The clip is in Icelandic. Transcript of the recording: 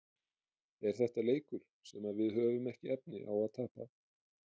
Er þetta leikur sem að við höfum ekki efni á að tapa?